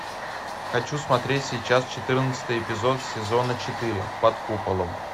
хочу смотреть сейчас четырнадцатый эпизод сезона четыре под куполом